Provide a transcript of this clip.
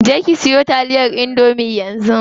Je ki siyo taliyar indomie yanzu.